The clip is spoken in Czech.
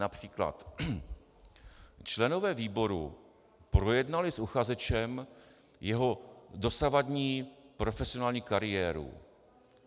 Například: "Členové výboru projednali s uchazečem jeho dosavadní profesionální kariéru.